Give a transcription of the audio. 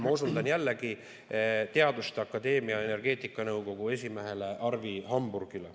Ma osundan jällegi teaduste akadeemia energeetikanõukogu esimehele Arvi Hamburgile.